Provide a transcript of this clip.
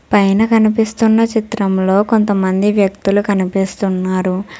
పైన కనిపిస్తున్న చిత్రంలో కొంతమంది వ్యక్తులు కనిపిస్తున్నారు.